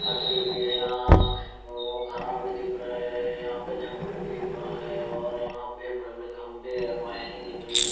भी है यहाँ कोगो घरा भी दिख रहे है यहाँ पे जंगल भी दिख रहा है और यहाँ पे बड़े-बड़े खंभे है वायरिंग दिख रही है।